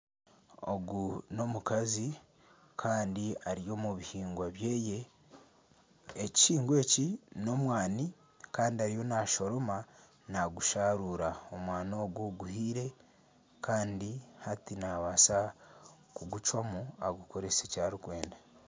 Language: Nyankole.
Ogu n'omukazi kandi ari omu bihingwa byeye. Ekihingwa eki n'omwana kandi ariyo nashoroma nagusharuura. Omwani ogu guhiire kandi hati naabaasa kugucwamu agukoresa eki arikwenda.